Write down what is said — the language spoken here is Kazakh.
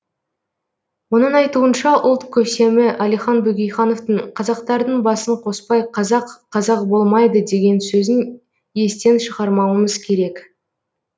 оның айтуынша ұлт көсемі әлихан бөкейхановтың қазақтардың басын қоспай қазақ қазақ болмайды деген сөзін естен шығармауымыз керек